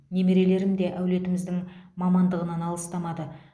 немерелерім де әулетіміздің мамандығынан алыстамады